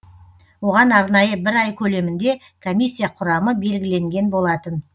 оған арнайы бір ай көлемінде комиссия құрамы белгіленген болатын